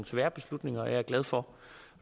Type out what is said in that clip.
svære beslutninger jeg er glad for